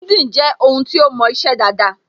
LinkedIn je ohun to mo ise daada